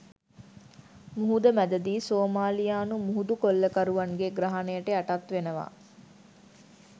මුහුද මැදදී සෝමාලියානු මුහුදු කොල්ලකරුවන්ගේ ග්‍රහණයට යටත් වෙනවා